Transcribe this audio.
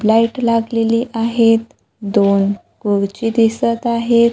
Light लागलेली आहेत दोन कुर्ची दिसत आहेत.